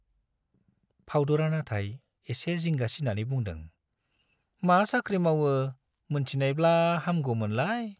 फाउदुरा नाथाय एसे जिंगासिनानै बुंदों , मा साख्रि मावो मोनथिनायब्ला हामगौमोनलाय।